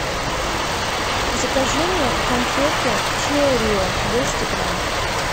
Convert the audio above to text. закажи мне конфеты чио рио двести грамм